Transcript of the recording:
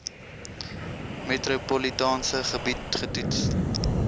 metropolitaanse gebied getoets